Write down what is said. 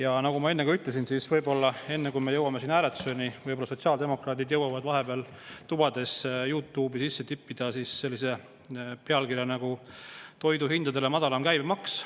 Aga nagu ma enne ka ütlesin, võib-olla enne, kui me jõuame siin hääletuseni, jõuavad sotsiaaldemokraadid vahepeal oma tubades YouTube'i sisse tippida sellise pealkirja nagu "Toiduhindadele madalam käibemaks".